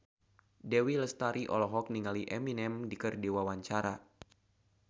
Dewi Lestari olohok ningali Eminem keur diwawancara